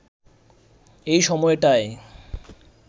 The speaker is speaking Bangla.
এ সময়টায়